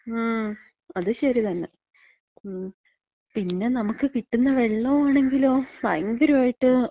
മ്. അത്ശരിതന്നെ. മ്. പിന്നെ നമക്ക് കിട്ട്ന്ന വെള്ളോം ആണെങ്കിലോ ഭയങ്കരായിട്ട്,